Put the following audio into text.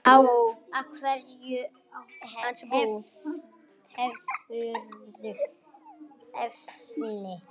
Á hverju hefurðu efni?